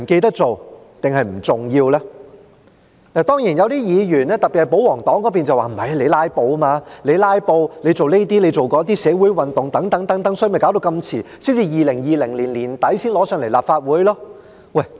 當然，有些議員，特別是保皇黨議員，會說那是因為我們"拉布"，我們做這些、做那些，發生社會運動等，所以便拖延這麼久，到2020年年底才提交立法會。